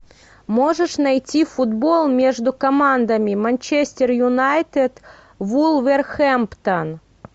можешь найти футбол между командами манчестер юнайтед вулверхэмптон